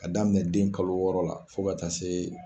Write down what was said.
Ka daminɛ den kalo wɔɔrɔ la fo ka taa se.